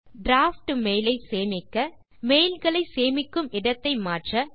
draft mail ஐ சேமிக்க mailகளை சேமிக்கும் இடத்தை மாற்ற